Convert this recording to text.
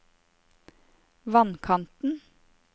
vannkanten